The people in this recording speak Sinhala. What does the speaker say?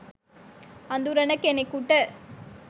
අඳුරන කෙනෙකුට